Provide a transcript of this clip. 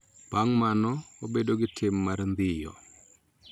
Bang� mano, wabedo gi tim mar ndhiyo .